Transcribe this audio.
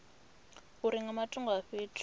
uri nga matungo a fhethu